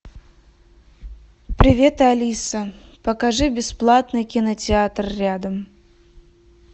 привет алиса покажи бесплатный кинотеатр рядом